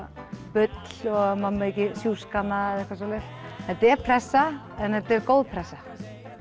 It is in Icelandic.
bull maður megi ekki sjúska hana þetta er pressa en þetta er góð pressa